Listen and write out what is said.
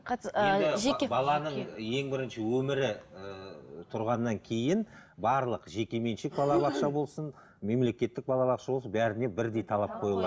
баланың ең бірінші өмірі ііі тұрғаннан кейін барлық жеке меншік балабақша болсын мемлекеттік балабақша болсын бәріне бірдей талап қойылған